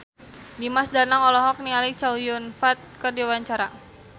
Dimas Danang olohok ningali Chow Yun Fat keur diwawancara